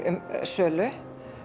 sölu